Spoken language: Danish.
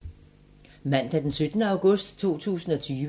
Mandag d. 17. august 2020